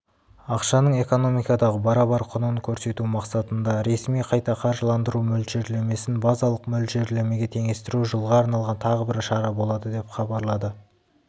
ақшаның экономикадағы барабар құнын көрсету мақсатында ресми қайта қаржыландыру мөлшерлемесін базалық мөлшерлемеге теңестіру жылға арналған тағы бір шара болады деп хабарлады